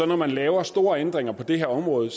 når man laver store ændringer på det her område